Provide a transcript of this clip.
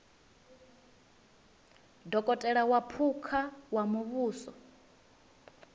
dokotela wa phukha wa muvhuso